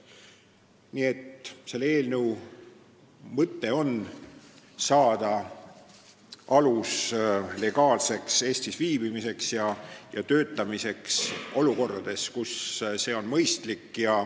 Nii et selle eelnõu mõte on anda alus legaalseks Eestis viibimiseks ja töötamiseks olukordades, kus see on mõistlik.